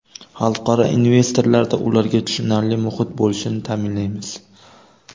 Xalqaro investorlarda ularga tushunarli muhit bo‘lishini ta’minlaymiz.